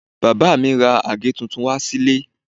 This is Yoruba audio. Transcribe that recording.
Bàbá mi ra àgé tuntun wá sí ilé